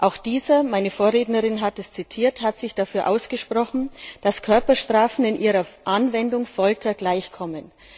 Auch dieser meine Vorrednerin hat es zitiert hat sich dafür ausgesprochen, dass Körperstrafen in ihrer Anwendung Folter gleichkommen.